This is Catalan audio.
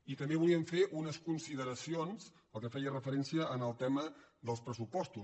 i també volíem fer unes consideracions pel que feia referència al tema dels pressupostos